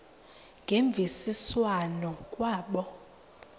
ngemvisiswano r kwabo